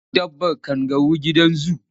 Za su kawo dabbar kangaru gidan zu.